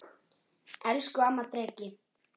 Elsku amma Dreki.